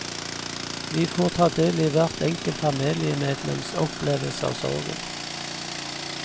Vi får ta del i hvert enkelt familiemedlems opplevelse av sorgen.